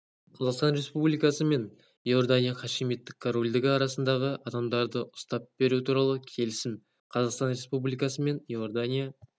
қазақстан республикасы мен иордания хашимиттік корольдігі арасындағы адамдарды ұстап беру туралы келісім қазақстан республикасы мен иордания